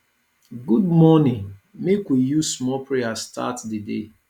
good morning make we use small prayer start di day